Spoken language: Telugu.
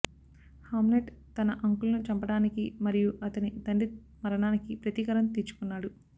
హామ్లెట్ తన అంకుల్ను చంపడానికి మరియు అతని తండ్రి మరణానికి ప్రతీకారం తీర్చుకున్నాడు